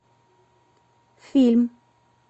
фильм